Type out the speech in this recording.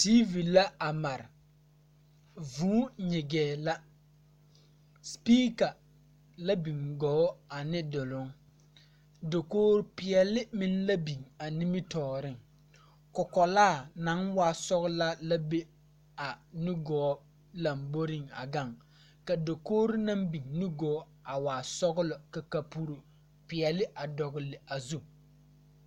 Teevi la a mare vūū nyigee la sepiika la biŋ gɔɔ ane duloŋ dakoge peɛɛle meŋ la biŋ a nimitooreŋ kɔkɔlaa naŋ waa sɔglaa la be a nugɔɔ lamboreŋ a gaŋ ka dakogre na biŋ nugɔɔ a waa sɔglɔ ka kapuri peɛɛle a dɔgle a zu.